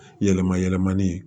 Yɛlɛma yɛlɛmani